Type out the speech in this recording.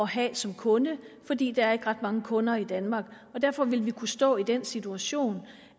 have som kunde fordi der ikke er ret mange kunder i danmark og derfor ville vi kunne stå i den situation